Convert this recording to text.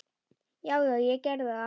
Já, já, ég gerði það.